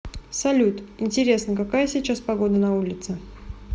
салют интересно какая сейчас погода на улице